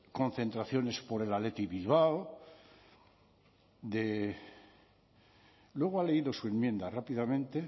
concentraciones por el athletic de bilbao de luego ha leído su enmienda rápidamente